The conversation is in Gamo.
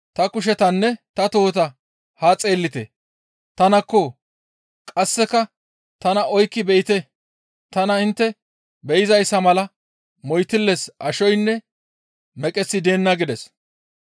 Ta kushetanne ta tohota haa xeellite; tanakko; qasseka tana oykki be7ite; tana intte be7izayssa mala moytilles ashoynne meqeththi deenna» gides.